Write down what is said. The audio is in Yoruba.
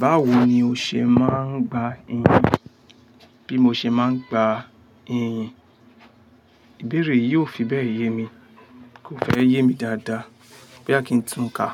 Báwo ni o ṣe máa ń gba iyì? Bí mo ṣe máa ń gba iyì? Ìbéèrè yìí ò fi bẹ́ẹ̀ yé mi. Kò fẹ́ yé mi dáadáa. Boya kí n tún kà.